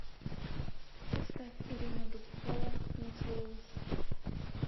поставь ирина дубцова не целуешь